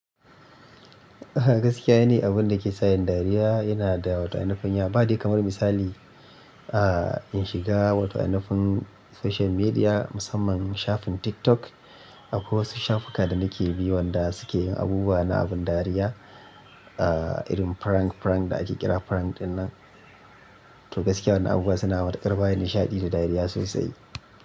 Gaskiya ne, abun da ke sa yin dariya yana da wato ainufin. Badai kamar misali, in shiga wato ainufin social media musamman shafin TikTok. Akwai wasu shafuka da nake bi wanda suke yin abubuwa na abin dariya irin prank-prank da ake kira prank dinnan. To gaskiya wannan abubuwa suna matuƙar ba ni nishaɗi da dariya sosai.